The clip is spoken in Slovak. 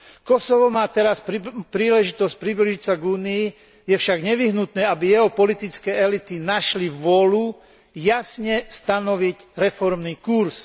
Kosovo má teraz príležitosť priblížiť sa k Únii, je však nevyhnutné, aby jeho politické elity našli vôľu jasne stanoviť reformný kurz.